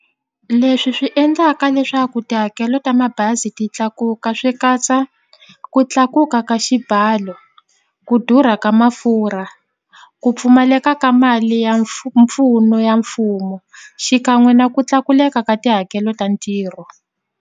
Leswi swi endlaka leswaku tihakelo ta mabazi ti tlakuka swi katsa ku tlakuka ka xibalo ku durha ka mafurha ku pfumaleka ka mali ya mpfuno ya mfumo xikan'we na ku tlakuleka ka tihakelo ta ntirho.